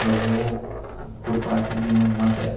Meu vô por parte de mãe materno.